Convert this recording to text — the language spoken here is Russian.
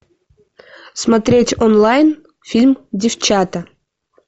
смотреть онлайн фильм девчата